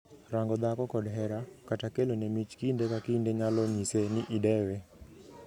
Rango dhako kod hera, kata kelone mich kinde ka kinde nyalo nyiso ni idewe.